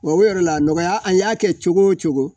Wa o yɛrɛ la a nɔgɔya a y'a kɛ cogo o cogo